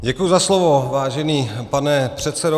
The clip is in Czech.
Děkuji za slovo, vážený pane předsedo.